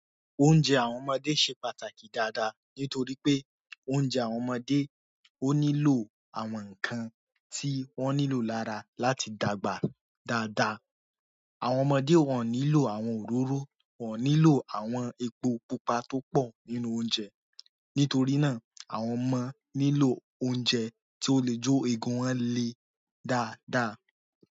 Oúnjẹ àwọn ọmọdé ṣe pàtàkì dáadáa nítorí pé oúnjẹ àwọn ọmọdé ó nílò àwọn ǹkan tí wọ́n nílò lára láti dàgbà dáadáa. Àwọn ọmọdé wọn nílò àwọn òróró, wọ́n ò nílò àwọn epo pupa tó pọ̀ nínú oúnjẹ. Nítorí náà, àwọn ọmọ nílò oúnjẹ tí ó lè jó eegun wọn le dáadáa.